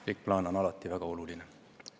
Pikk plaan on alati väga oluline.